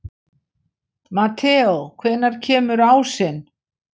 Mateó, hvenær kemur ásinn?